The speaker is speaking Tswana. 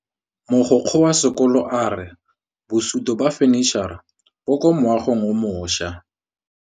Mogokgo wa sekolo a re bosutô ba fanitšhara bo kwa moagong o mošwa.